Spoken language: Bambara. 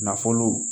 Nafolo